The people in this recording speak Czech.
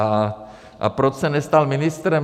A proč se nestal ministrem?